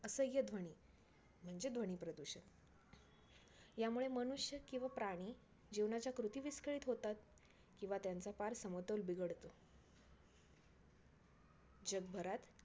असह्य ध्वनी म्हणजे ध्वनी प्रदूषण. यामुळे मनुष्य किंवा प्राणी जीवनाच्या कृती विस्कळीत होेतात. किंवा त्यांचा पार समतोल बिघडतो. जगभरात